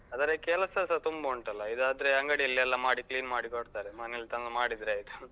ಅದ್ರ ಕೆಲ್ಸಸ ತುಂಬ ಉಂಟಲ್ಲಾ? ಇದಾದ್ರೆ ಅಂಗಡಿಯಲ್ಲಿ ಎಲ್ಲ ಮಾಡಿ clean ಮಾಡಿ ಕೊಡ್ತಾರೆ. ಮನೆಲ್ ತಂದ್ ಮಾಡಿದ್ರೆ ಆಯ್ತು